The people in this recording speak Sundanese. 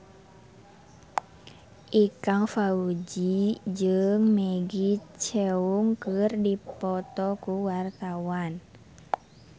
Ikang Fawzi jeung Maggie Cheung keur dipoto ku wartawan